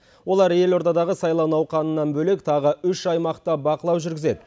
олар елордадағы сайлау науқанынан бөлек тағы үш аймақта бақылау жүргізеді